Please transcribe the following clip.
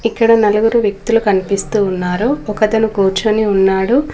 ఇక్కడ నలుగురు వ్యక్తులు కన్పిస్తూ ఉన్నారు ఒకతను కూర్చొని ఉన్నాడు.